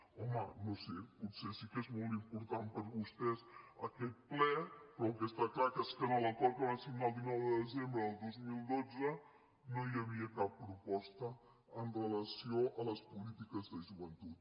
home no ho sé potser sí que és molt important per vostès aquest ple però el que està clar és que en l’acord que van signar el dinou de desembre del dos mil dotze no hi havia cap proposta amb relació a les polítiques de joventut